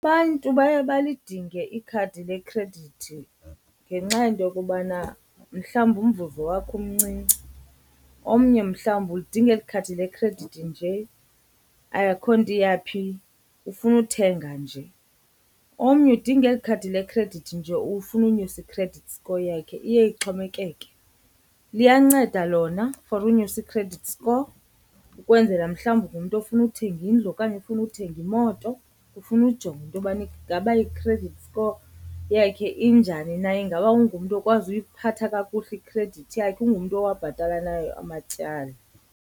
Abantu baye balidinge ikhadi lekhredithi ngenxa yento yokubana mhlawumbi umvuzo wakhe umncinci. Omnye mhlawumbi ulidinga eli ikhadi lekhredithi nje akho nto iyaphi ufuna uthenga nje. Omnye udinga eli khadi lekhredithi nje ufuna unyusa i-credit score yakhe, iye ixhomekeke. Liyanceda lona for unyusa i-credit score ukwenzela mhlawumbi ungumntu ofuna uthenga indlu okanye ufuna uthenga imoto, ufuna ujonga into yobana ingaba i-credit score yakhe injani na. Ingaba ungumntu okwazi uyiphatha kakuhle ikhredithi yakhe? Ungumntu owabhatala nayo amatyala?